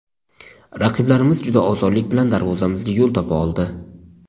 Raqiblarimiz juda osonlik bilan darvozamizga yo‘l topa oldi.